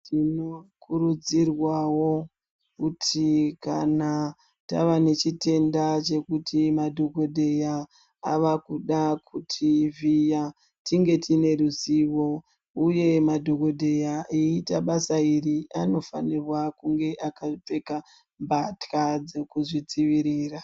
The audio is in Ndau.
Tinokurudzirwawo kuti kana tava nechitenda chekuti madhokodheya a akuda kuti vhiya tinge tine ruzivo uye madhokodheya eyiita basa iri anifanirwa kunga eipfeka mbatya dzekuzvidzivirira.